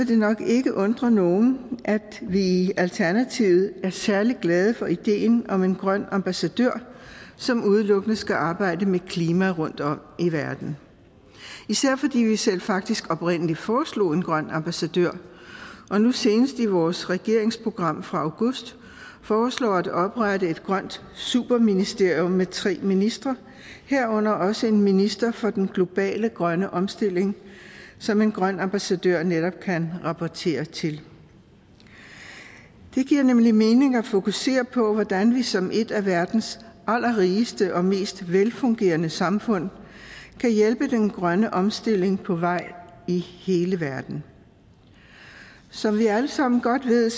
det nok ikke undre nogen at vi i alternativet er særlig glade for ideen om en grøn ambassadør som udelukkende skal arbejde med klima rundtom i verden især fordi vi selv faktisk oprindelig foreslog en grøn ambassadør og nu senest i vores regeringsprogram fra august foreslår vi at oprette et grønt superministerium med tre ministre herunder også en minister for den globale grønne omstilling som en grøn ambassadør netop kan rapportere til det giver nemlig mening at fokusere på hvordan vi som et af verdens allerrigeste og mest velfungerende samfund kan hjælpe den grønne omstilling på vej i hele verden som vi alle sammen godt ved